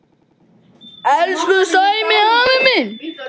Elsku Sæmi afi minn.